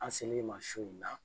An se l'i ma su in na